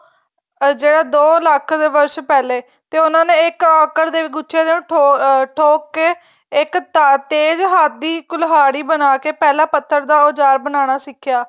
ਜਿਹੜਾ ਦੋ ਲੱਖ ਦੇ ਵਰਸ਼ ਪਹਿਲੇ ਤੇ ਉਹਨਾ ਨੇ ਇੱਕ ਔਖ੍ੜ ਦੇ ਗੁੱਛੇ ਨੂੰ ਠੋਕ ਕੇ ਇੱਕ ਤੇਜ ਹੱਥ ਕੁਲਾੜੀ ਬਣਾਕੇ ਪਹਿਲਾਂ ਪੱਥਰ ਦਾ ਉਜਾਰ ਬਨਾਣਾ ਸਿਖਿਆ